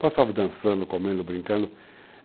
Passava dançando, comendo, brincando.